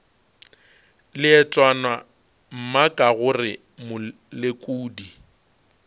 leetwana mma ka gore molekodi